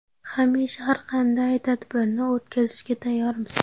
Hamisha har qanday tadbirni o‘tkazishga tayyormiz.